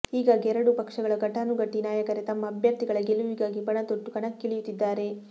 ಹೀಗಾಗಿ ಎರಡೂ ಪಕ್ಷಗಳ ಘಟಾನುಘಟಿ ನಾಯಕರೇ ತಮ್ಮ ಅಭ್ಯರ್ಥಿಗಳ ಗೆಲುವಿಗಾಗಿ ಪಣತೊಟ್ಟು ಕಣಕ್ಕಿಳಿಯುತ್ತಿದ್ದಾರೆ